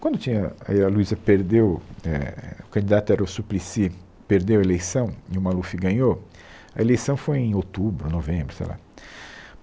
Quando tinha, aí a Luiza perdeu, éh, o candidato era o Suplicy, perdeu a eleição e o Maluf ganhou, a eleição foi em outubro, novembro, sei lá.